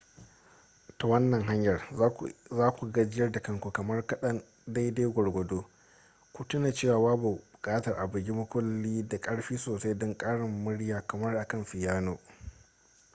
ta wannan hanyar za ku gajiyar da kanku kamar kaɗan daidai gwargwado ku tuna cewa babu buƙatar a bugi makullin da ƙarfi sosai don ƙarin murya kamar akan fiyano